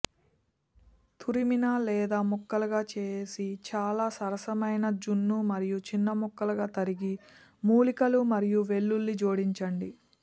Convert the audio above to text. తురిమిన లేదా ముక్కలుగా చేసి చాలా సరసమైన జున్ను మరియు చిన్న ముక్కలుగా తరిగి మూలికలు మరియు వెల్లుల్లి జోడించండి